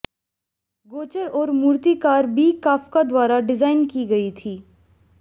गोचर और मूर्तिकार बी कफका द्वारा डिजाइन की गई थी